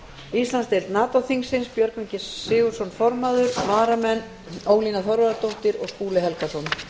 íslandsdeild nato þingsins björgvin g sigurðsson formaður varamenn eru ólína þorvarðardóttir og skúli helgason